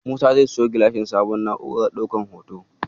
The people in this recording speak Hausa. Musa zai siyo sabon gilashin na'urar ɗaukan hoto.